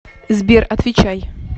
сбер отвечай